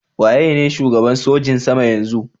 Waye ne shugaban sojin sama yanzun?